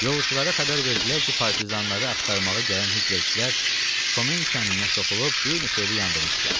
Yolçulara xəbər verdilər ki, partizanları axtarmağa gələn Hitlerçilər Komen kəndinə soxulub bir neçə evi yandırmışdılar.